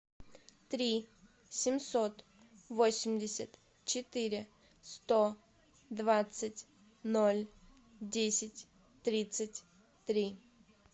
три семьсот восемьдесят четыре сто двадцать ноль десять тридцать три